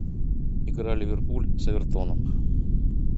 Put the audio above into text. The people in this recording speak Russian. игра ливерпуль с эвертоном